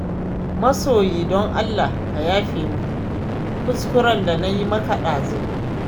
Masoyi don Allah ka yafe min kuskuren da na yi maka ɗazu.